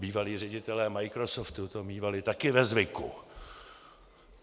Bývalí ředitelé Microsoftu to mívali také ve zvyku.